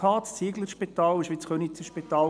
das Zieglerspital war eigentlich das Könizer Spital.